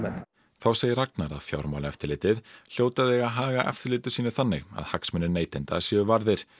þá segir Ragnar að Fjármálaeftirlitið hljóti að eiga að haga eftirliti sínu þannig að hagsmunir neytenda séu varðir